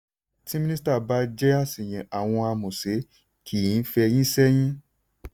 tí minisita bá jẹ́ àṣìyàn àwọn amọ̀ṣẹ̀ kì í fẹ́yìn sẹ́yìn.